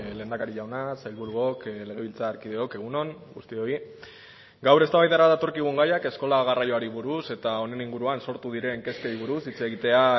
lehendakari jauna sailburuok legebiltzarkideok egun on guztioi gaur eztabaidara datorkigun gaiak eskola garraioari buruz eta honen inguruan sortu diren kezkei buruz hitz egitea